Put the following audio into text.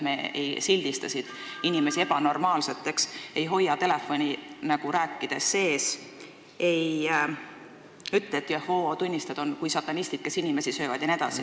Me ei sildista siin inimesi ebanormaalseteks, ei hoia rääkides telefoni sees ega ütle, et Jehoova tunnistajad on kui satanistid, kes inimesi söövad, jne.